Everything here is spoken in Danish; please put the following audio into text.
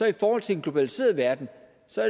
i forhold til en globaliseret verden